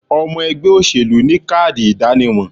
Omo ègbé òṣèlú ni káàdì ìdánimo